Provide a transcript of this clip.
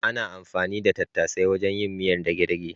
Ana anfani da tattasai wajen yin miyar dage-dage.